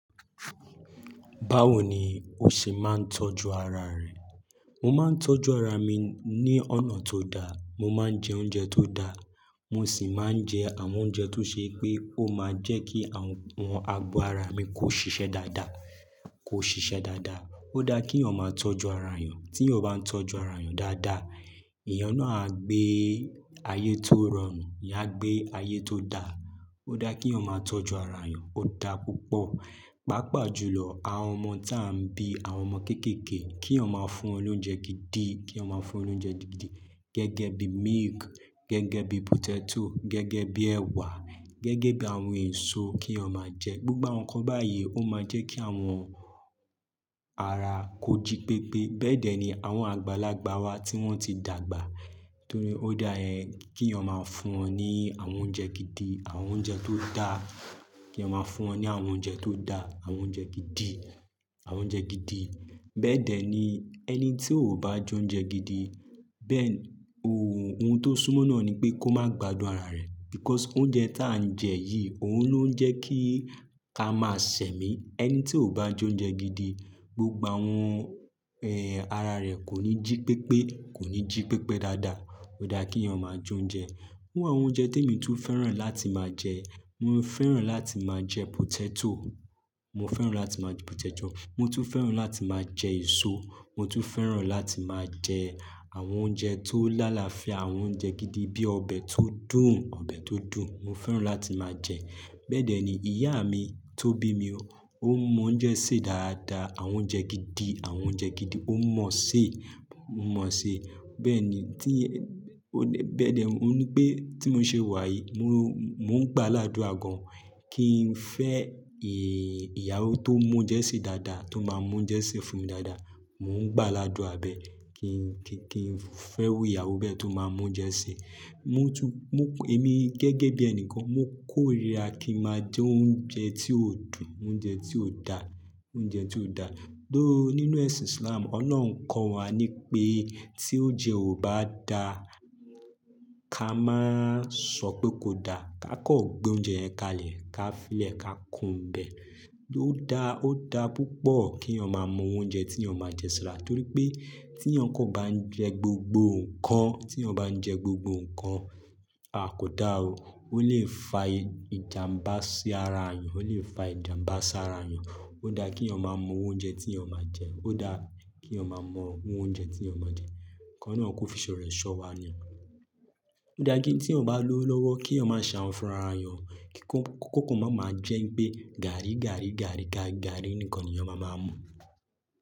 Báwo ni o ṣe máa ń tọ́jú ara rẹ? Mo máa ń tọ́jú ara mi ní ọ̀nà tó da. Mo máa ń jẹ oúnjẹ tó da. Mo sì máa ń jẹ àwọn oúnjẹ tó ṣe pé ó máa jẹ́ kí àwọn, àwọn ago ara mi kó ṣiṣẹ́ dáadáa, kó ṣiṣẹ́ dáadáa. Ó dá kí èèyàn ma tọ́jú ara èèyàn. Tí èèyàn bá ń tọ́jú ara èèyàn dáadáa, èèyàn náà á gbé ayé tó rọrùn, áá gbé ayé tó da. Ó dá kí ọmọ tọ́jú ara èèyàn. Ó da púpọ̀. Pápà jùlọ àwọn ọmọ táà ń bí, àwọn ọmọ kéékèèké kí èèyàn ma fún wọn lóúnjẹ gidi, kí èèyàn fún lóúnjẹ gidi gẹ́gẹ́ bí milk, gẹ́gẹ́ bí potato, gẹ́gẹ́ bí ẹ̀wà, gẹ́gẹ́ bí àwọn èso kí èèyàn ma jẹ. Gbogbo àwọn nǹkan báyìí ó máa jẹ́ kí àwọn ara kó jí pépé. Bẹ́ẹ̀dẹ̀ ni àwọn àgbàlagbà wa tí wọ́n ti dàgbà. Torí ó dá ẹ́n kí èèyàn ma fún wọn ní àwọn oúnjẹ gidi, àwọn oúnjẹ tó dá. Kí èèyàn ma fún wọn ní àwọn oúnjẹ tó dá, àwọn oúnjẹ gidi, àwọn oúnjẹ gidi. Bẹ́ẹ̀dẹ̀ ni ẹni tí ò bá jẹ oúnjẹ gidi. Bẹ́ẹ̀ ni ohun tó súmọ́ náà ni pé kó má gbadùn ara rẹ̀. Because oúnjẹ táà ń jẹ yìí òun ló ń jẹ kí ká máa sẹ̀mí. Ẹni tí ò bá jẹ oúnjẹ gidi, gbogbo àwọn, ẹ́, ara rẹ̀ kò ní jí pépé, kò ní jí pépé dáadáa. Ó dá kí ọmọ jẹ oúnjẹ. Irú àwọn oúnjẹ tí èmi tún fẹ́ràn láti máa jẹ. Mo fẹ́ràn láti máa jẹ potato. Mo fẹ́ràn láti máa jẹ potato. Mo tún fẹ́ràn láti máa jẹ èso. Mo tún fẹ́ràn láti máa jẹ àwọn oúnjẹ tó l'alafia àwọn oúnjẹ gidi bí ọbẹ̀ tó dùn, ọbẹ̀ tó dùn. Mo fẹ́ràn láti máa jẹ. Bẹ́ẹ̀dẹ̀ ni ìyá mi tó bí mi ó mọ oúnjẹ sè dáadáa, àwọn oúnjẹ gidi, àwọn oúnjẹ gidi ó mọ̀ ṣe, ó mọ̀ ṣe. Bẹ́ẹ̀ ni tí, bẹ́ẹ̀dẹ̀, ó ní pé tí mò ń ṣe wà yìí mo, mò ń gbá láduà gàn kí n fẹ́ ìyàwó tó mọ oúnjẹ sè dáadáa tó máa mú oúnjẹ sè fún mi dáadáa. Mò ń gbá ládùa bẹ́ kí n, kí n fẹ́ iru ìyàwó bẹ́ẹ̀ tó máa mọ oúnjẹ sè. Mo tún, mo, èmi gẹ́gẹ́ bí ẹni kan mo kórìíra kí n máa jẹ oúnjẹ tí ò dùn, oúnjẹ tí ò da, oúnjẹ tí ò da. Ló nínú ẹ̀sìn Islam, Ọlọ́run kọ́ wa ní pé tí oúnjẹ ò bá da ká má sọ pé kò da. Ka kọ gbé oúnjẹ yẹn kalẹ̀, ka filẹ̀ ka kúrò n bẹ̀. Ó dá, ó dá púpọ̀ kí ọmọ mọ oúnjẹ tí ọmọ máa jẹ sara torí pé tí èèyàn kan bá ń jẹ gbogbo nǹkan, tí èèyàn bá ń jẹ gbogbo nǹkan, a kò dá o. Ó lè fa ìjàmbá sí ara èèyàn, ó lè fa ìjàmbá sí ara èèyàn. Ó dá kí ọmọ mọ oúnjẹ tí ọmọ máa jẹ. Ó dá kí ọmọ mọ oúnjẹ tí ọmọ máa jẹ. Ki ọlọrun kò fiṣọ̀ rẹ̀ ṣọ̀ wá ni. Ó dá kí tí èèyàn bá lówó lọwọ́ kí èèyàn mà ṣe ahun fún ara yan. Kí kò kàn máa ma jẹ́ pé gàárí, gàárí, gàárí, gàárí nìkan ni èèyàn maa máa mú.